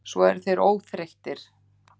Þeir eru svo óþreyttir.